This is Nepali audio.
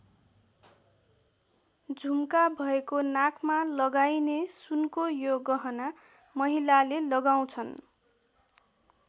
झुम्का भएको नाकमा लगाइने सुनको यो गहना महिलाले लगाउँछन्।